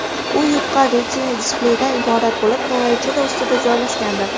U yupqa Retina-displeydan iborat bo‘lib, klaviatura ustida joylashgandir.